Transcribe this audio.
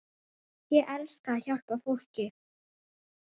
Ég elska að hjálpa fólki.